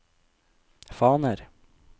faner